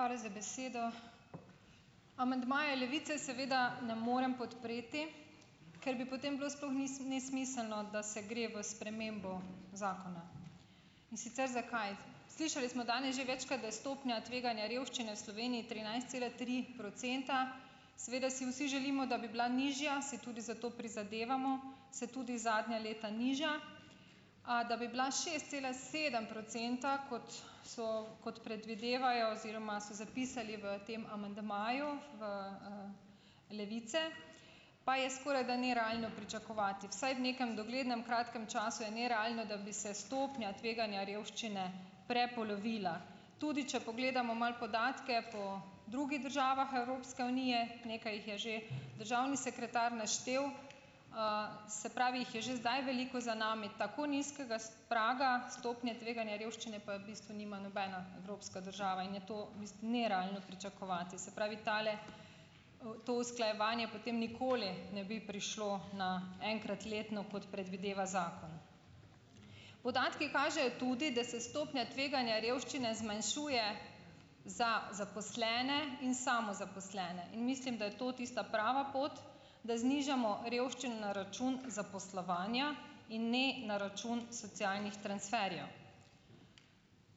Hvala za besedo. Amandmaje Levice seveda ne morem podpreti, ker bi potem bilo sploh nesmiselno, da se gre v spremembo zakona, in sicer zakaj, slišali smo danes že večkrat, da je stopnja tveganja revščine v Sloveniji trinajst cela tri procenta, seveda si vsi želimo, da bi bila nižja, se tudi za to prizadevamo, se tudi zadnja leta nižja, a da bi bila šest cela sedem procenta, kot so kot predvidevajo oziroma so zapisali v tem amandmaju v, Levice, pa je skorajda nerealno pričakovati, vsaj v nekem doglednem kratkem času je nerealno, da bi se stopnja tveganja revščine prepolovila, tudi če pogledamo malo podatke po drugih državah Evropske unije, nekaj jih je že državni sekretar naštel, se pravi, jih je že zdaj veliko za nami, tako nizkega praga stopnje tveganja revščine pa je bistvu nima nobena evropska država in je to nerealno pričakovati, se pravi, tale to usklajevanje potem nikoli ne bi prišlo na enkrat letno, kot predvideva zakon, podatki kažejo tudi, da se stopnja tveganja revščine zmanjšuje za zaposlene in samozaposlene, in mislim, da je to tista prava pot, da znižamo revščino na račun zaposlovanja in ne na račun socialnih transferjev,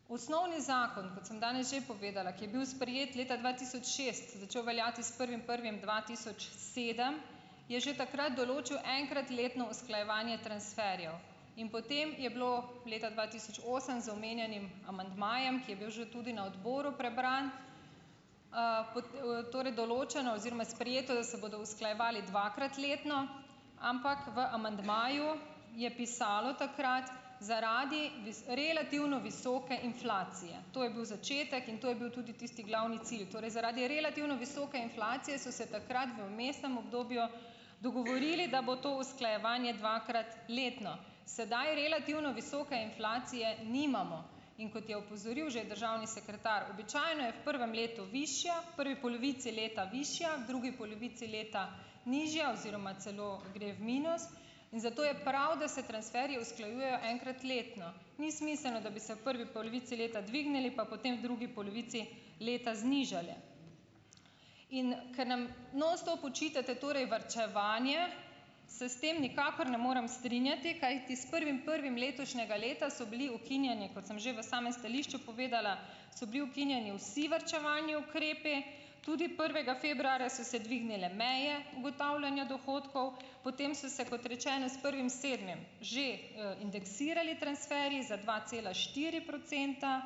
osnovni zakon, kot sem danes že povedala, ki je bil sprejet leta dva tisoč šest, začel veljati s prvim prvim dva tisoč sedem, je že takrat določil enkrat letno usklajevanje transferjev in potem je bilo leta dva tisoč osem z omenjenim amandmajem, ki je bil že tudi na odboru prebran, torej določeno oziroma sprejeto, da se bodo usklajevali dvakrat letno, ampak v amandmaju je pisalo takrat zaradi relativno visoke inflacije, to je bil začetek in to je bil tudi tisti glavni cilj, torej zaradi relativno visoke inflacije so se takrat v vmesnem obdobju dogovorili, da bo to usklajevanje dvakrat letno, sedaj relativno visoke inflacije nimamo, in kot je opozoril že državni sekretar, običajno je v prvem letu višja prvi polovici leta, višja drugi polovici leta, nižja oziroma celo gre v minus, in zato je prav, da se transferji usklajujejo enkrat letno, ni smiselno, da bi se v prvi polovici leta dvignili pa potem v drugi polovici leta znižali, in kar nam nonstop očitate, torej varčevanje, se s tem nikakor ne morem strinjati, kajti s prvim prvim letošnjega leta so bili ukinjeni, kot sem že v samem stališču povedala, so bili ukinjeni vsi varčevalni ukrepi, tudi prvega februarja so se dvignile meje ugotavljanja dohodkov, potem so se, kot rečeno, s prvim sedmim že, indeksirali transferji za dva cela štiri procenta,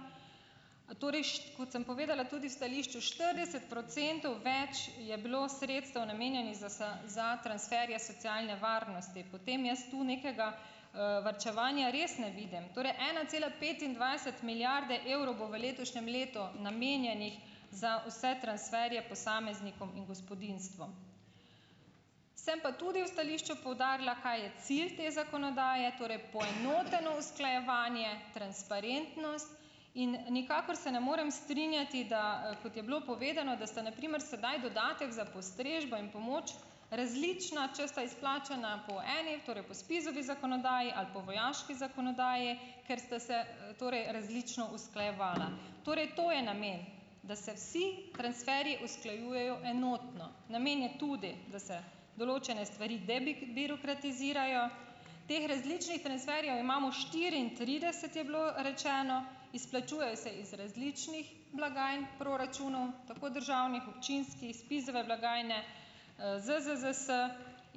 torej kot sem povedala tudi v stališču, štirideset procentov več je bilo sredstev, namenjenih za za transferje socialne varnosti, potem jaz tu nekega, varčevanja res ne vidim, torej ena cela petindvajset milijarde evrov bo v letošnjem letu namenjenih za vse transferje posameznikom in gospodinjstvom, sem pa tudi v stališču poudarila, kaj je cilj te zakonodaje, torej poenoteno usklajevanje, transparentnost, in nikakor se ne morem strinjati, da kot je bo povedano, da sta na primer sedaj dodatek za postrežbo in pomoč različna, če sta izplačana po eni, torej spo SPIZ-ovi zakonodaji ali po vojaški zakonodaji, ker sta se torej različno usklajevala, torej to je namen, da se vsi transferji usklajujejo enotno, namen je tudi, da se določene stvari birokratizirajo, teh različnih transferjev imamo štiriintrideset, je bilo rečeno, izplačujejo se iz različnih blagajn proračunov, tako državnih občinskih iz SPIZ-ove blagajne, ZZZS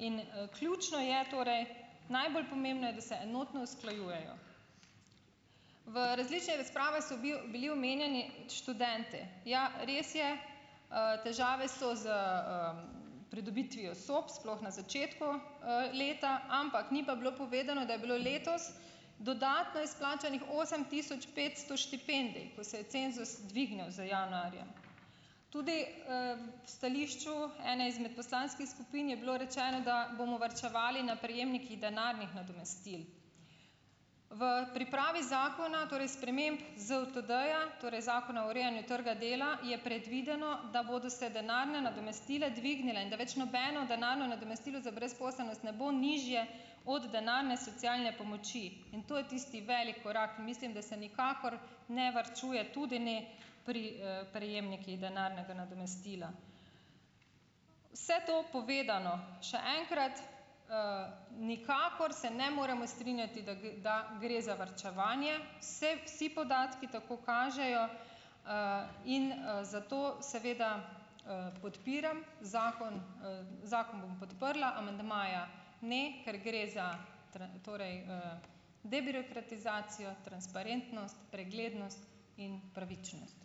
in, ključno je torej, najbolj pomembno je, da se enotno usklajujejo v različnih razpravah so bili omenjeni študenti, ja, res je, težave so s, pridobitvijo sob, sploh na začetku, leta, ampak ni pa bilo povedano, da je bilo letos dodatno izplačanih osem tisoč petsto štipendij, se je cenzus dvignil za januarja. Tudi, v stališču ene izmed poslanskih skupin je bilo rečeno, da bomo varčevali na prejemnikih denarnih nadomestil v pripravi zakona, torej sprememb ZUTD-ja, torej zakona o urejanju trga dela, je predvideno, da bodo se denarna nadomestila dvignila in da več nobeno denarno nadomestilo za brezposelnost ne bo nižje od denarne socialne pomoči, in to je tisti veliki korak, mislim, da se nikakor ne varčuje tudi ne pri, prejemnikih denarnega nadomestila, vse to povedano še enkrat, nikakor se moremo strinjati da da gre za varčevanje, vse, vsi podatki tako kažejo, in, zato seveda podpiram zakon, zakon bom podprla, amandmaja ne, ker gre za torej, debirokratizacijo, transparentnost, preglednost in pravičnost.